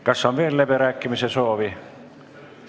Kas on veel läbirääkimiste soovi?